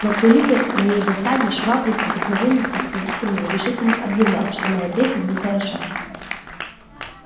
но к великой моей досаде швабрин обыкновенно снисходительный решительно объявлял что песня моя нехороша